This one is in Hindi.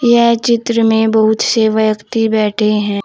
यह चित्र में बहुत से व्यक्ति बैठे हैं।